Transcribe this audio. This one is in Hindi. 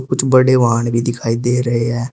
बड़े वाहन भी दिखाई दे रहे हैं।